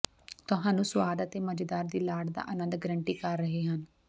ਤੁਹਾਨੂੰ ਸੁਆਦ ਅਤੇ ਮਜ਼ੇਦਾਰ ਦੀ ਲਾਟ ਦਾ ਆਨੰਦ ਗਾਰੰਟੀ ਕਰ ਰਹੇ ਹਨ